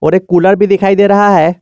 एक कुलर भी दिखाई दे रहा है।